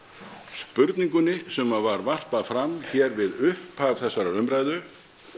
spurningunni sem var varpað fram hér við upphaf þessarar umræðu